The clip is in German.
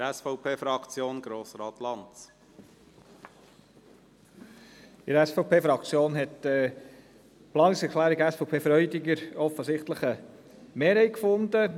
Bei der SVP-Fraktion hat die Planungserklärung Freudiger offensichtlich eine Mehrheit gefunden.